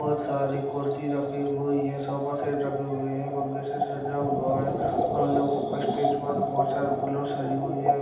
बोहोत सारे कुर्सी रखी हुई हैं सोफा सेट रखे हुए हैं। फुग्गे से सजा हुआ है और उन लोगों को स्टेज पर बोहोत सारे फूलों से सजी हुई है।